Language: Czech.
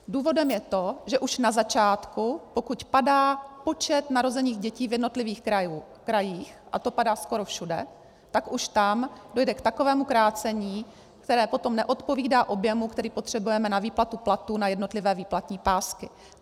Důvodem je to, že už na začátku, pokud padá počet narozených dětí v jednotlivých krajích, a to padá skoro všude, tak už tam dojde k takovému krácení, které potom neodpovídá objemu, který potřebujeme na výplatu platů na jednotlivé výplatní pásky.